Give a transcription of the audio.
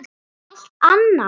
Það er allt annað.